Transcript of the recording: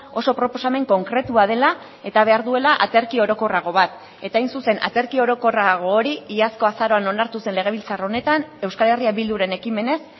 oso proposamen konkretua dela eta behar duela aterki orokorrago bat eta hain zuzen aterki orokorrago hori iazko azaroan onartu zen legebiltzar honetan euskal herria bilduren ekimenez